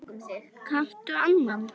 Kanntu annan?